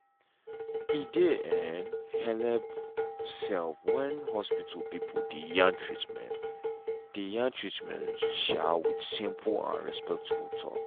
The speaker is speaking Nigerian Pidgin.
e dey um helep um when hospital people dey yarn treatment dey yarn treatment um with simple and respectful talk.